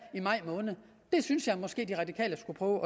i maj måned det synes jeg måske de radikale skulle prøve